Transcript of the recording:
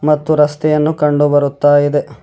ಮತ್ತು ರಸ್ತೆಯನ್ನು ಕಂಡು ಬರುತ್ತಾ ಇದೆ.